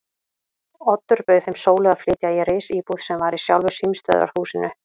Oddur bauð þeim Sólu að flytja í risíbúð sem var í sjálfu símstöðvarhúsinu.